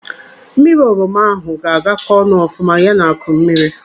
Mmiri oroma ahụ ga-agakọ ọnụ ọfuma ya na akụ mmiri.